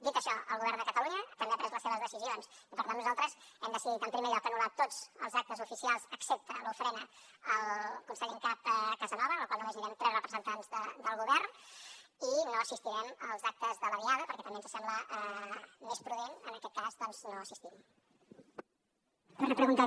dit això el govern de catalunya també ha pres les seves decisions i per tant nosaltres hem decidit en primer lloc anul·lar tots els actes oficials excepte l’ofrena al conseller en cap casanova en la qual només anirem tres representants del govern i no assistirem als actes de la diada perquè també ens sembla més prudent en aquest cas doncs no assistir hi